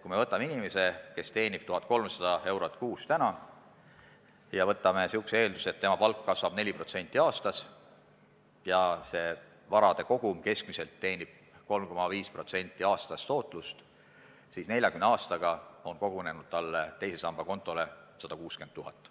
kui me lähtume inimesest, kes teenib täna 1300 eurot kuus, ning teeme sellise eelduse, et tema palk kasvab aastas 4% ja tema varakogumi tootlus on aastas keskmiselt 3,5%, siis 40 aastaga koguneb tema teise samba kontole 160 000 eurot.